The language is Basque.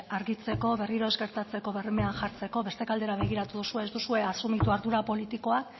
argitzeko berriro ez gertatzeko bermeak jartzeko beste aldera begiratu duzue ez duzue asumitu ardura politikoa